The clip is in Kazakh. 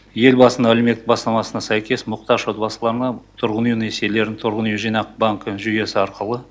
елбасының әлеуметтік бастамасына сәйкес мұқтаж отбасыларына тұрғын үй несиелерін тұрғын үй жинақ банкі жүйесі арқылы